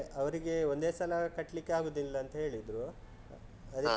ಅವರಿಗೆ ಒಂದೇ ಸಲ ಕಟ್ಲಿಕ್ಕೆ ಆಗುದಿಲ್ಲ ಅಂತ ಹೇಳಿದ್ರು, ಅದಕ್ಕೆ.